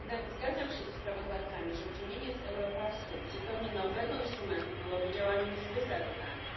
Zgadzam się ze sprawozdawcami, że uczynienie z Europassu zupełnie nowego instrumentu byłoby działaniem zbyt radykalnym.